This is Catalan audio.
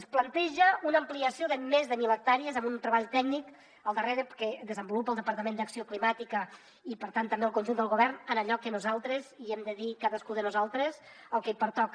es planteja una ampliació de més de mil hectàrees amb un treball tècnic al darrere que desenvolupa el departament d’acció climàtica i per tant també el conjunt del govern en allò que nosaltres hi hem de dir cadascú de nosaltres el que pertoca